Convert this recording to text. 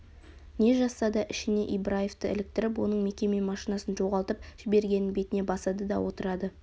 не жазса да ішіне ибраевты іліктіріп оның мекеме машинасын жоғалтып жібергенін бетіне басады да отырады